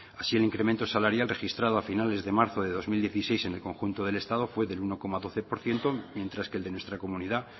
así el incremento salarial registrado a finales de marzo de dos mil dieciséis en el conjunto del estado fue del uno coma doce por ciento mientras que el de nuestra comunidad